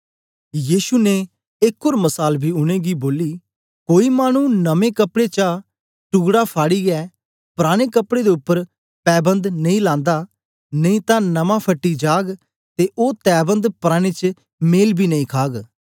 यीशु ने एक ओर मसाल बी उनेंगी बोली कोई मानु नमें कपड़े चा टुकड़ा फाड़ियै पुराने कपड़े दे उपर पैबन्द नेई लान्दा नेई तां नमां फटी जाग ते ओ तैवन्द पराने च मेल बी नेई खाग